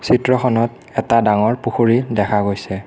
চিত্ৰখনত এটা ডাঙৰ পুখুৰী দেখা গৈছে।